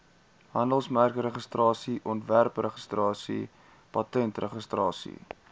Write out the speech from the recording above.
handelsmerkregistrasie ontwerpregistrasie patentregistrasie